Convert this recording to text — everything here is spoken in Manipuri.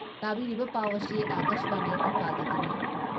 ꯇꯥꯕꯤꯔꯤꯕ ꯄꯥꯎ ꯑꯁꯤ ꯑꯀꯥꯁꯕꯥꯅꯤ ꯏꯝꯐꯥꯜꯗꯒꯤꯅꯤ